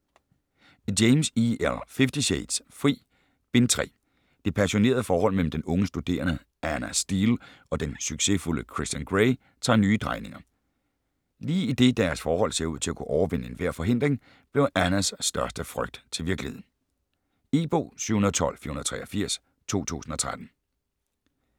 James, E. L.: Fifty shades: Fri: Bind 3 Det passionerede forhold mellem den unge studerende Ana Steele og den succesfulde Christian Grey tager nye drejninger. Lige idet deres forhold ser ud til at kunne overvinde enhver forhindring, bliver Anas største frygt til virkelighed. E-bog 712483 2013.